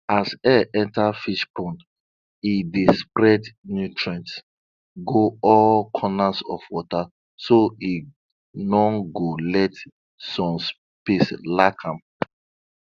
as air enta fish pond e dey spread nutrients go all corner for water so e no go let some places lack am